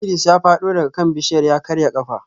Idris ya fado daga kan bishiyar ya karya kafa